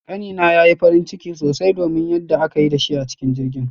Kani na yayi farin ciki sosai domin yanda aka yi da shi a cikin jirgin